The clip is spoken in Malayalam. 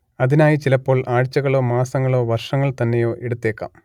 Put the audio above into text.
അതിനായി ചിലപ്പോൾ ആഴ്ചകളോ മാസങ്ങളോ വർഷങ്ങൾ തന്നെയോ എടുത്തേക്കാം